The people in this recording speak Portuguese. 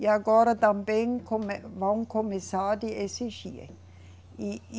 E agora também come, vão começar a exigir. E, e